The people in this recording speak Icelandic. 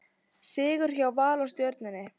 Sigur hjá Val og Stjörnunni